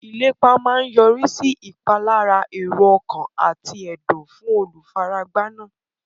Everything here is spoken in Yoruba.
Ìlépa máa yọrí sí ìpalára èrò ọkàn àti ẹ̀dùn fún olùfaragbá náà.